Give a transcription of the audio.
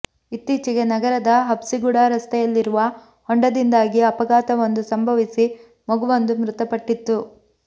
ಇತ್ತೀಚೆಗೆ ನಗರದ ಹಬ್ಸಿಗುಡಾ ರಸ್ತೆಯಲ್ಲಿರುವ ಹೊಂಡದಿಂದಾಗಿ ಅಪಘಾತವೊಂದು ಸಂಭವಿಸಿ ಮಗುವೊಂದು ಮೃತಪಟ್ಟಿತ್ತು